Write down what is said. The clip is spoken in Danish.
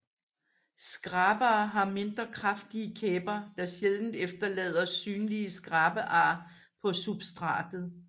Skrabere har mindre kraftige kæber der sjældent efterlader synlige skrabear på substratet